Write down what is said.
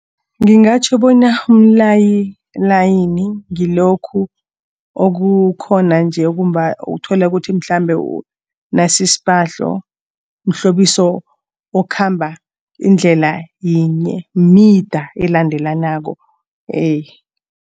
Ngingatjho bona umlayilayini ngilokhu okukhona nje utholukuthi mhlambe nasisphahlo mhlobiso okhamba indlela yinye, mida elandelanako